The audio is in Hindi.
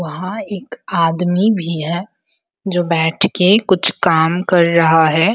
वहां एक आदमी भी है जो बैठ के कुछ काम कर रहा है ।